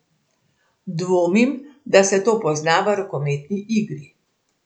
Dvomim, da se to pozna v rokometni igri.